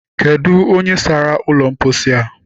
Kedụ onye sara ụlọ mposi a?